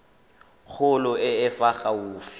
kgolo e e fa gaufi